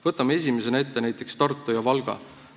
Võtame esimesena ette näiteks Tartu ja Valga.